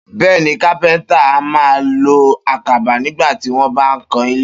Bé̩è̩ni, kápé̩ńtà a máa lo àkàbá nigbà tí wó̩n bá ń kan ilé